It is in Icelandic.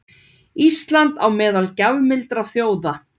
Ísland á meðal gjafmildra þjóða